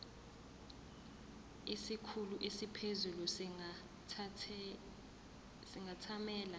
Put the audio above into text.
isikhulu esiphezulu singathamela